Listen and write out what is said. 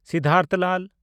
Siddhartha Lal